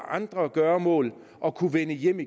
andre gøremål og kunne vende hjem